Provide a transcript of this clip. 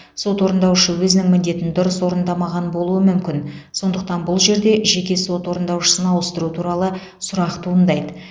сот орындаушы өзінің міндетін дұрыс орындамаған болуы мүмкін сондықтан бұл жерде жеке сот орындаушысын ауыстыру туралы сұрақ туындайды